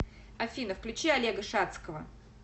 афина включи олега шадского